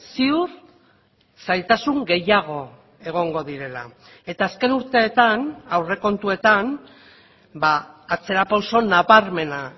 ziur zailtasun gehiago egongo direla eta azken urteetan aurrekontuetan atzera pauso nabarmena